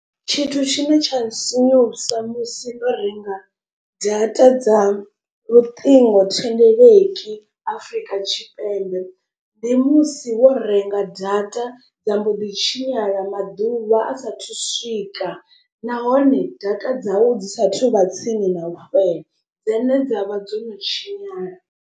Tshithu tshine tsha sinyusa musi no renga data dza luṱingo thendeleki afrika tshipembe. Ndi musi wo renga data dza mbo ḓi tshinyala maḓuvha a sathu swika nahone data dzau dzi sathu vha tsini na u fhela dzone dzavha dzo no tshinyala.